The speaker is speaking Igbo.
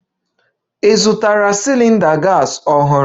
Ị zụtara cylinder gas ọhụrụ?